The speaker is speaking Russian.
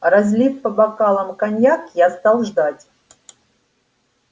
разлив по бокалам коньяк я стал ждать